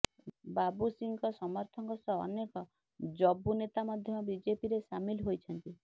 ବାବୁ ସିଂଙ୍କ ସମର୍ଥକଙ୍କ ସହ ଅନେକ ଯବୁ ନେତା ମଧ୍ୟ ବିଜେପିରେ ସାମିଲ ହୋଇଛନ୍ତି